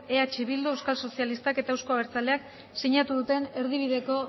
eh bildu euskal sozialistak eta euzko abertzaleak sinatu duten erdibideko